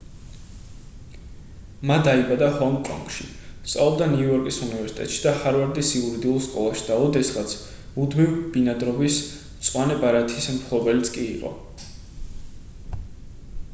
მა დაიბადა ჰონგ-კონგში სწავლობდა ნიუ-იორკის უნივერსიტეტში და ჰარვარდის იურიდიულ სკოლაში და ოდესღაც მუდმივ ბინადრობის მწვანე ბარათის მფლობელიც კი იყო